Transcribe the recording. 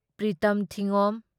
Pritam ꯊꯤꯉꯣꯝ